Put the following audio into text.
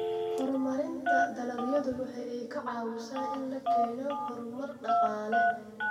Horumarinta dalagyadu waxa ay ka caawisaa in la keeno horumar dhaqaale.